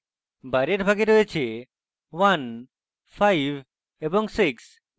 বাইরের ভাগে রয়েছে 15 এবং 6